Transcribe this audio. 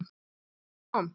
Hún kom.